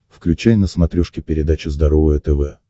включай на смотрешке передачу здоровое тв